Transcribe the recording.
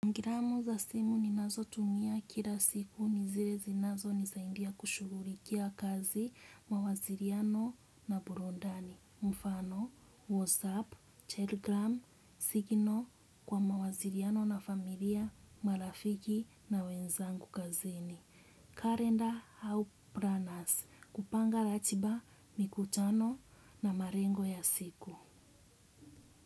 Gramu za simu ninazotumia kila siku ni zile zinazonisaidia kushughulikia kazi mawasiliano na burudani. Mfano, Whatsapp, Telegram, Signal kwa mawasiliano na familia, marafiki na wenzangu kazini. Kalenda au planas kupanga ratiba, mikutano na malengo ya siku.